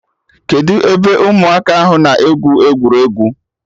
Kedụ ebe ụmụaka ahụ na-egwu egwuregwu?